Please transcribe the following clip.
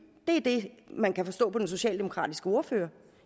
det er det man kan forstå på den socialdemokratiske ordfører